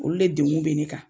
Olu de dekun be ne kan.